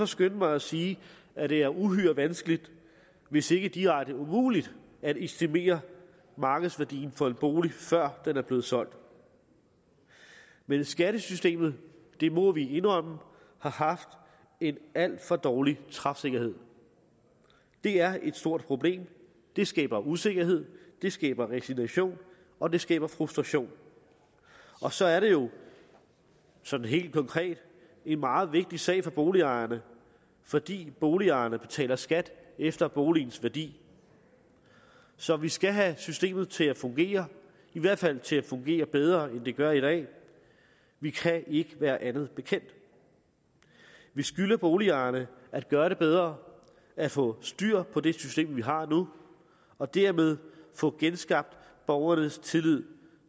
skynde mig at sige at det er uhyre vanskeligt hvis ikke direkte umuligt at estimere markedsværdien for en bolig før den er blevet solgt men skattesystemet det må vi indrømme har haft en alt for dårlig træfsikkerhed det er et stort problem det skaber usikkerhed det skaber resignation og det skaber frustration og så er det jo sådan helt konkret en meget vigtig sag for boligejerne fordi boligejerne betaler skat efter boligens værdi så vi skal have systemet til at fungere i hvert fald til at fungere bedre end det gør i dag vi kan ikke være andet bekendt vi skylder boligejerne at gøre det bedre at få styr på det system vi har nu og dermed få genskabt borgernes tillid